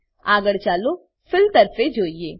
આગળ ચાલો ફિલ તરફે જોઈએ